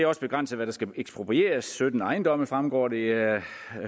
også begrænset hvad der skal eksproprieres sytten ejendomme fremgår det af